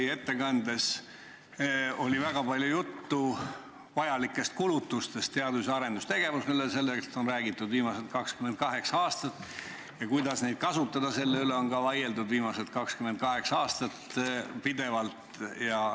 Teie ettekandes oli väga palju juttu vajalikest kulutustest teadus- ja arendustegevusele – sellest on räägitud viimased 28 aastat – ja sellest, kuidas neid kasutada – ka selle üle on vaieldud viimased 28 aastat pidevalt.